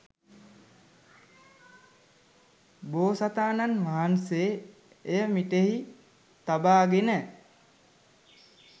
බෝසතාණන් වහන්සේ එය මිටෙහි තබාගෙන